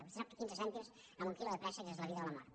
vostè sap que quinze cèntims en un quilo de préssecs és la vida o la mort